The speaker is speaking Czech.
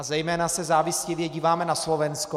A zejména se závistivě díváme na Slovensko.